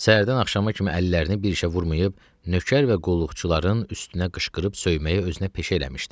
Səhərdən axşama kimi əllərini bir işə vurmayıb, nökər və qulluqçuların üstünə qışqırıb söyməyi özünə peşə eləmişdi.